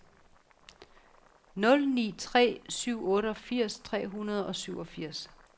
nul ni tre syv otteogfirs tre hundrede og syvogfirs